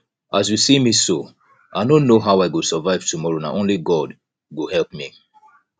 as you see me so i no know how i go survive tomorrow na only god go help me